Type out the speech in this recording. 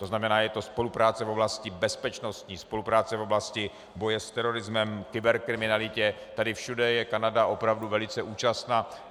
To znamená, je to spolupráce v oblasti bezpečnosti, spolupráce v oblasti boje s terorismem, kyberkriminalitě, tady všude je Kanada opravdu velice účastna.